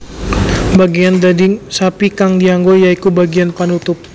Bageyan daging sapi kang dianggo ya iku bageyan panutup